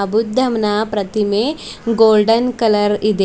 ಬುದ್ದಂನ ಪ್ರತಿಮೆ golden colour ಇದೆ.